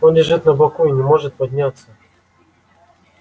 он лежит на боку и не может подняться